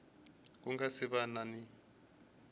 ku nga si va ni